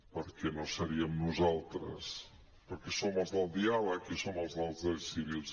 perquè no seríem nosaltres perquè som els del diàleg i som els dels drets civils